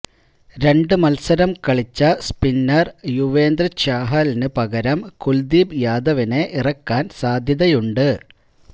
രണ്ടു മത്സരം കളിച്ച സ്പിന്നര് യുസ്വേന്ദ്ര ചാഹലിന് പകരം കുല്ദീപ് യാദവിനെ ഇറക്കാന് സാധ്യതയുണ്ട്